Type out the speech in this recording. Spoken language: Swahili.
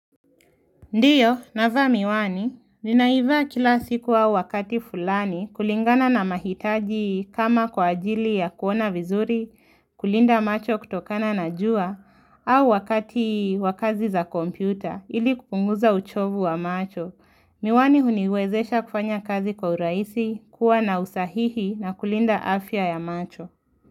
Ndio, navaa miwani, ninaivaa kila siku au wakati fulani kulingana na mahitaji kama kwa ajili ya kuona vizuri, kulinda macho kutokana na jua, au wakati wa kazi za kompyuta ili kupunguza uchovu wa macho. Miwani uniwezesha kufanya kazi kwa urahisi, kuwa na usahihi na kulinda afya ya macho.